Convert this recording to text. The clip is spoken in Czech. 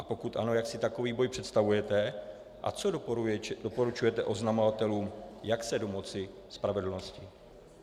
A pokud ano, jak si takový boj představujete a co doporučujete oznamovatelům, jak se domoci spravedlnosti?